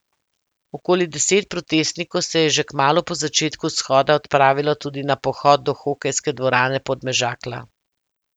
Okoli deset protestnikov se je že kmalu po začetku shoda odpravilo tudi na pohod do hokejske dvorane Podmežakla.